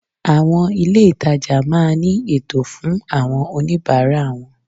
Àwon ilé ìtajà máa ní ètò fun àwon oníbáárà won